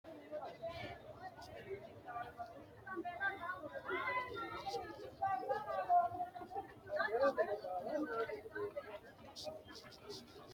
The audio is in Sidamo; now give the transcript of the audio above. kuni quchumi addinta heerate ikko gangalatate biifinohonna injinoho. konnira lowo manni tenne kincho boncce biifinsoonni hawulte hunda baxxino garinni gangalttanno.